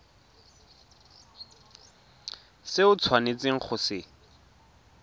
se o tshwanetseng go se